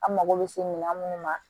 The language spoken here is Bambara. An mago bɛ se mina minnu ma